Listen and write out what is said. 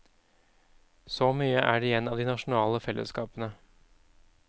Så mye er igjen av de nasjonale fellesskapene.